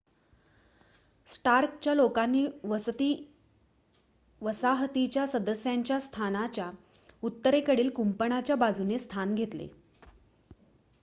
स्टार्कच्या लोकांनी वसाहतीच्या सदस्यांच्या स्थानाच्या उत्तरेकडील कुंपणाच्या बाजूने स्थान घेतले